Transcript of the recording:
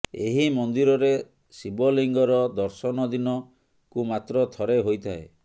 ଏହି ମନ୍ଦିରରେ ଶିବଲିଙ୍ଗର ଦର୍ଶନଦିନ କୁ ମାତ୍ର ଥରେ ହୋଇଥାଏ